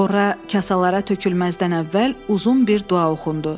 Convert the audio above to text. Horra kasalara tökülməzdən əvvəl uzun bir dua oxundu.